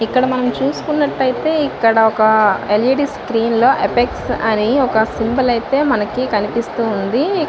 ఇక్కడ మనము చుసోకొట్టు అఎఇ ఏతి ఇక్కడ ఎల్ఇ..డి. సీన్ లొ ఎఫర్ట్ అని సింబల్ కనిపిస్తుంది.